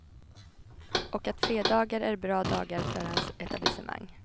Och att fredagar är bra dagar för hans etablissemang.